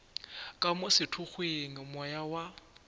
ka mo sethokgweng moya wa